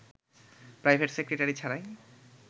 private secretary ছাড়াই